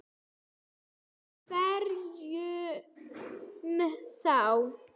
Og hverjum þá?